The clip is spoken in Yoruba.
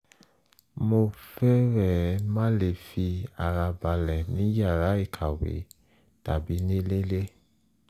mo fẹ́rẹ̀ẹ́ má le fi ara balẹ̀ ní yàrá ìkàwé tàbí ní ilé